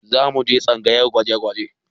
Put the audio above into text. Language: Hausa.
Za mu je tsangayar gwaje-gwaje